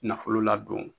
Nafolo ladon